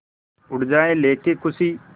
उड़ जाएं लेके ख़ुशी